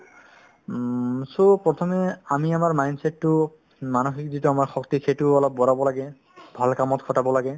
উম, so প্ৰথমে আমি আমাৰ mindset তো মানসিক যিটো আমাৰ শক্তি সেইটোও অলপ বঢ়াব লাগে ভাল কামত খটাব লাগে